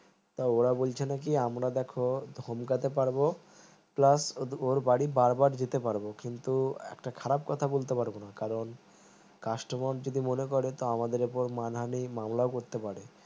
ওরা বলছে নাকি আমরা দেখো ধমকাতে পারবো plus ওর বাড়ি বার বার যেতে পারবো কিন্তু একটা খারাপ কথা বলতে পারবো না কারণ customer যদি মনে করে আমাদের উপর মানহানি মামলাও করতে পারে